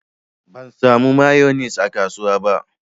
Ban samu mayonis a kasuwa ba.